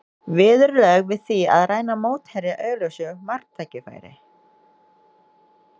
Viðurlög við því að ræna mótherja augljósu marktækifæri?